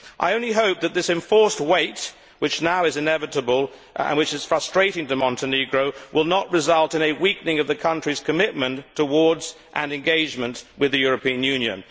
I only hope that this enforced wait, which now is inevitable and is frustrating to Montenegro, will not result in a weakening of the country's commitment to an engagement with the European Union.